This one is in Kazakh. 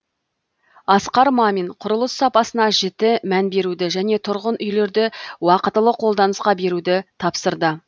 асқар мамин құрылыс сапасына жіті мән беруді және тұрғын үйлерді уақытылы қолданысқа беруді тапсырды